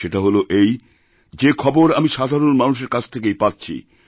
সেটা হল এই যে খবর আমি সাধারণ মানুষের কাছ থেকেই পাচ্ছি